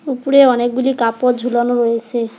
উপরে অনেকগুলি কাপড় ঝুলানো রয়েসে।